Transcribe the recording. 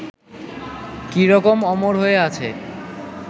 কী রকম অমর হয়ে আছে